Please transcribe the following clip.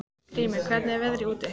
Grímey, hvernig er veðrið úti?